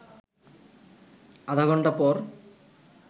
আধা ঘণ্টা পর